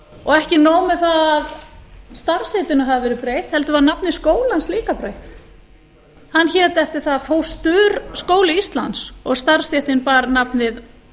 og ekki nóg með það að starfsheitinu hafi verið breytt heldur var nafni skólans líka breytt hann hét eftir það fósturskóli íslands og starfsstéttin bar nafnið